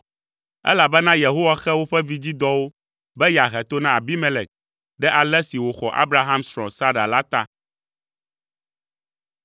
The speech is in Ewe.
elabena Yehowa xe woƒe vidzidɔwo be yeahe to na Abimelek ɖe ale si wòxɔ Abraham srɔ̃ Sara la ta.